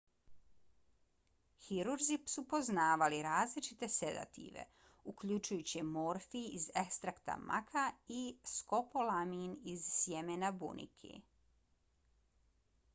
hirurzi su poznavali različite sedative uključujući morfij iz ekstrakta maka i skopolamin iz sjemena bunike